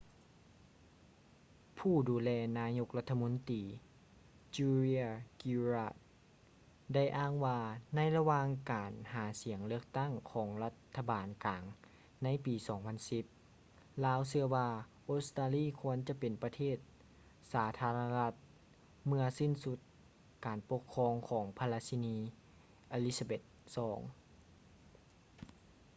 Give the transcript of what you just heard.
ຜູ້ດູແລນາຍົກລັດຖະມົນຕີ julia gillard ໄດ້ອ້າງວ່າໃນລະຫວ່າງການຫາສຽງເລືອກຕັ້ງຂອງລັດຖະບານກາງໃນປີ 2010 ລາວເຊື່ອວ່າອົດສະຕາລີຄວນຈະເປັນປະເທດສາທາລະນະລັດເມື່ອສິ້ນສຸດການປົກຄອງຂອງພະລາຊິນີ elizabeth ii